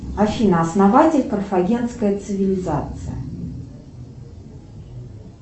афина основатель карфагенской цивилизации